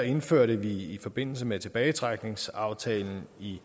indførte vi i forbindelse med tilbagetrækningsaftalen i